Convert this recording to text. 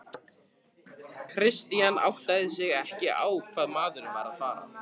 Christian áttaði sig ekki á hvað maðurinn var að fara.